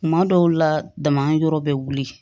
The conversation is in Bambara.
Kuma dɔw la dama yɔrɔ bɛ wuli